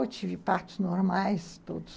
Eu tive partos normais, todos.